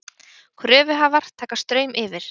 Kröfuhafar taka Straum yfir